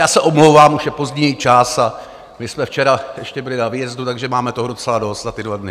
Já se omlouvám, už je pozdní čas a my jsme včera ještě byli na výjezdu, takže máme toho docela dost za ty dva dny.